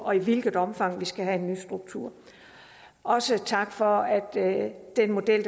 og i hvilket omfang vi skal have en ny struktur også tak for at den model